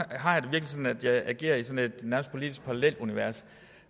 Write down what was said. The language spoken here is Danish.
at jeg nærmest agerer i et politisk parallelunivers